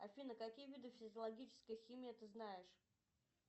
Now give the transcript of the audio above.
афина какие виды физиологической химии ты знаешь